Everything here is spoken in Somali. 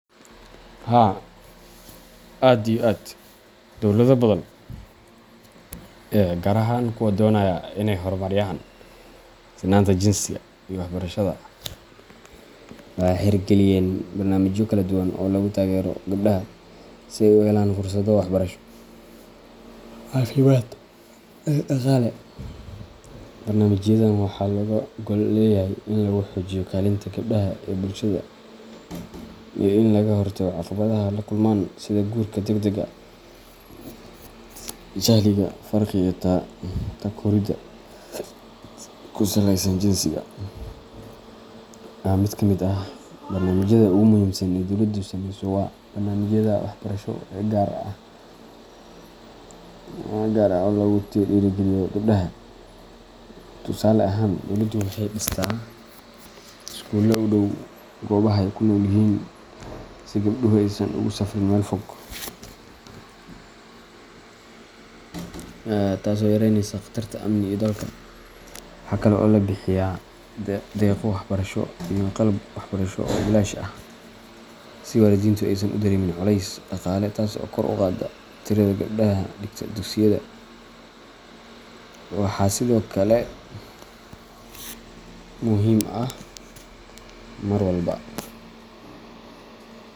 Haa aad iyo aad ,Dowlado badan, gaar ahaan kuwa doonaya in ay horumariyaan sinnaanta jinsiga iyo waxbarashada, waxay hirgeliyeen barnaamijyo kala duwan oo lagu taageerayo gabdhaha si ay u helaan fursado waxbarasho, caafimaad, iyo dhaqaale. Barnaamijyadan waxaa looga gol leeyahay in lagu xoojiyo kaalinta gabdhaha ee bulshada iyo in laga hortago caqabadaha ay la kulmaan sida guurka degdega ah, jahliga, faqriga, iyo takooridda ku saleysan jinsiga. Mid ka mid ah barnaamijyada ugu muhiimsan ee dowladdu samayso waa barnaamijyada waxbarasho ee gaar ah oo lagu dhiirrigeliyo gabdhaha. Tusaale ahaan, dowladdu waxay dhistaa iskuullo u dhow goobaha ay ku nool yihiin si gabdhuhu aysan ugu safriin meel fog, taas oo yareynaysa khatarta amni iyo daalka. Waxaa kale oo la bixiyaa deeqo waxbarasho iyo qalab waxbarasho oo bilaash ah si waalidiintu aysan u dareemin culays dhaqaale, taas oo kor u qaadda tirada gabdhaha dhigta dugsiyada, waxaa sidoo kale muhim ah mar walba.